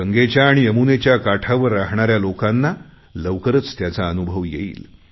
गंगेच्या आणि यमुनेच्या काठावर राहणाऱ्या लोकांना लवकरच त्याचा अनुभव येईल